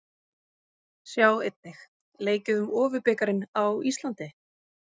Sjá einnig: Leikið um Ofurbikarinn á Íslandi?